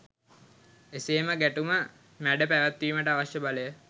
එසේම ගැටුම මැඩ පැවැත්වීමට අවශ්‍ය බලය